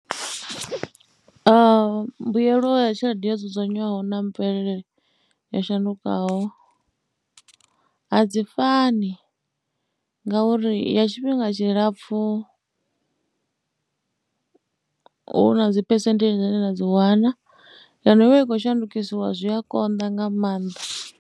Mbuelo ya tshelede yo dzudzanywaho na mvelele yo shandukaho a dzi fani ngauri ya tshifhinga tshilapfhu hu na dzi phesenthedzhi dzine na dzi wana ya no vha i khou shandukisiwa zwi a konḓa nga maanḓa